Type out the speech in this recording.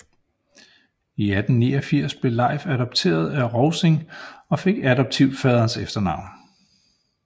I 1889 blev Leif adopteret af Rovsing og fik adoptivfaderens efternavn